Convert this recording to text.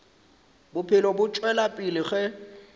bophelo bo tšwela pele ge